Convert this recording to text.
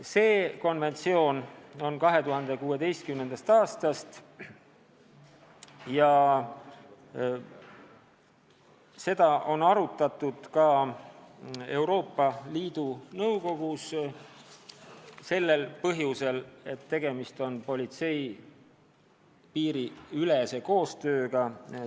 See konventsioon koostati 2016. aastal ja seda on arutatud ka Euroopa Liidu Nõukogus, kuna tegemist on politsei piiriülese koostööga.